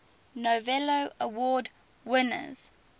novello award winners